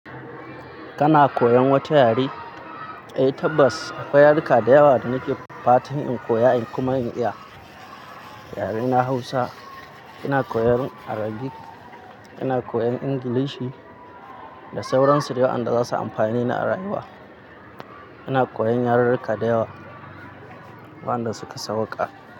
Kana koyan wata yare? Eh tabbas akwai yaruka da yawa da nake fatan in koya in kuma iya. Yare na Hausa ina koyan Arabic, ina koyan English da sauransu dayawan da za su amfani ni a rayuwa. Ina koyan yarurruka da yawa wanda suka sauka.